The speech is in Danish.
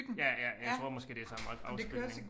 Ja ja jeg tror måske det samme afspilning